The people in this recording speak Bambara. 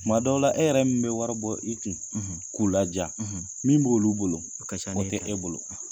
Tuma dɔw la e yɛrɛ min be wari bɔ i kun, k'u ladiya, min b'olu bolo, a san n'e ta o tɛ e bolo.